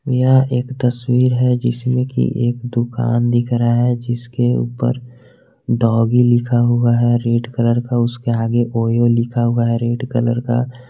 यह एक तस्वीर है जिसमें की एक दुकान दिख रहा है जिसके ऊपर डॉगी लिखा हुआ है रेड कलर का उसके आगे ओयो लिखा हुआ है रेड कलर का।